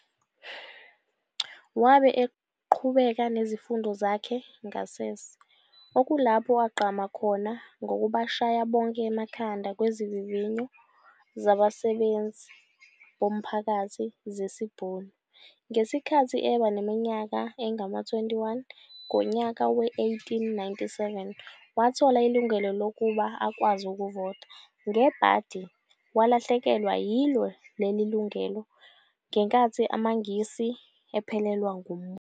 Wabe eqhubeka nezifundo zakhe ngasese okulapho agqama khona ngokubashaya bonke emakhanda kwizivinvinyo zabasebenzi bomphakathi zesiBhunu. Ngesikhathi eba neimyaka engama-21 ngonyaka we-1897 wathola ilungelo lokuba akwazi ukuvota, ngebhadi walahlekelwa yilo leli lungelo ngenkathi amangisi ephelelwa ngumbuso.